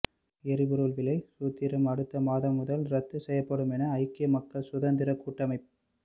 எரிபொருள் விலை சூத்திரம் அடுத்த மாதம் முதல் ரத்து செய்யப்படும் என ஐக்கிய மக்கள் சுதந்திரக் கூட்டமைப்